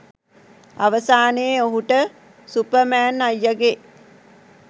අවසානයේ ඔහුට සුපර්මැන් අයියගේ